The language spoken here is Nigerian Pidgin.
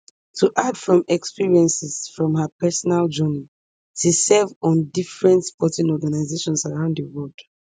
to add from experiences from her personal journey she serve on different sporting organizations around di world